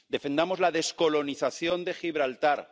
Defendamos la descolonización de Gibraltar